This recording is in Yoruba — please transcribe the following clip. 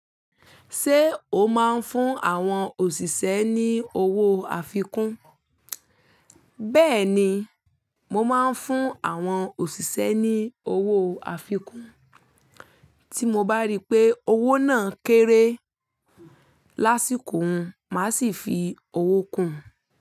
Ṣé o máa ń fún àwọn òṣìṣẹ́ ní owó àfikún? Bẹ́ẹ̀ni, mo máa ń fún àwọn òṣìṣẹ́ ní owó àfikún. Tí mo bá rí pé owó náà kéré lásìkò hun, màá sì fi owó kún un.